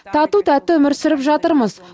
тату тәтті өмір сүріп жатырмыз